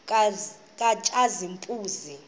katshazimpuzi